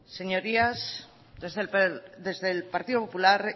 señorías desde el partido popular